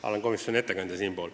Ma olen ju komisjoni ettekandja.